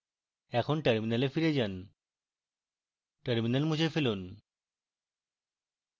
এখন terminal ফিরে যান terminal মুছে ফেলুন